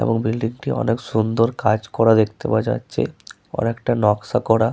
এবং বিল্ডিং -টি অনেক সুন্দর কাজ করা দেখতে পাওয়া যাচ্ছে অনেকটা নকশা করা ।